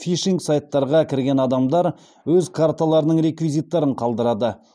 фишинг сайттарға кірген адамдар өз карталарының реквизиттерін қалдырады